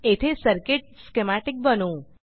येथे circuit schematic बनवू